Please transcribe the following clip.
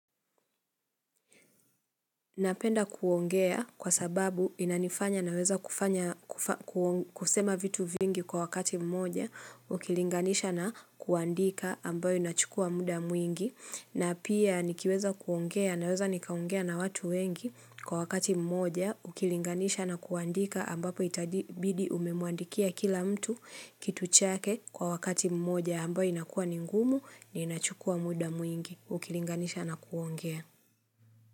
Napenda kuongea kwa sababu inanifanya naweza kufanya kusema vitu vingi kwa wakati mmoja ukilinganisha na kuandika ambayo inachukua mda mwingi na pia nikiweza kuongea naweza nikaongea na watu wengi kwa wakati mmoja ukilinganisha na kuandika ambapo itabidi umemwandikia kila mtu kituchake kwa wakati mmoja ambayo inakua ningumu na inachukua muda mwingi ukilinganisha na kuongea.